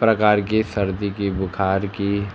प्रकार की सर्दी की बुखार की